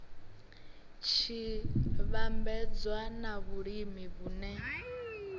tshi vhambedzwa na vhulimi vhune